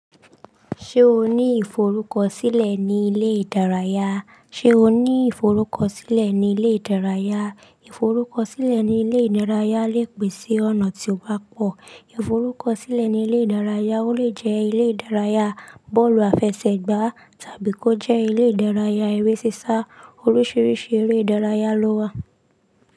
Ṣé o ní ìforúkọsílẹ̀ ní ilé ìdárayá? Ṣé o ní ìforúkọsílẹ̀ ní ilé ìdárayá? Ìforúkọsílẹ̀ ní ilé ìdárayá le pin si ọ̀nà tí ó ba pọ̀. Ìforúkọsílẹ̀ ní ilé ìdárayá o le jẹ́ ilé ìdárayá bọ́ọ̀lù àfẹsẹ̀gbá tàbí kó jẹ́ ilé ìdárayá eré sísá. Oríṣiríṣi eré ìdárayá ló wà.